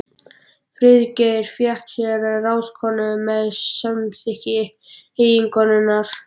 Friðgeir fékk sér þá ráðskonu með samþykki eiginkonunnar.